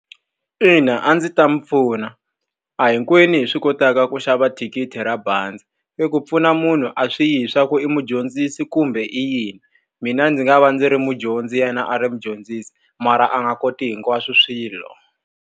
Ina a ndzi ta n'wi pfuna. A hi hinkwenu hi swi kotaka ku xava thikithi ra bazi. Eku pfuna munhu a swi yi hileswaku i mudyondzisi kumbe i yini, mina ndzi nga va ndzi ri mudyondzi yena a ri mudyondzisi, mara a nga koti hinkwaswo swilo.